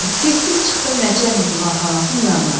Getdim çıxdım Nəçər Divanxanasının yanına.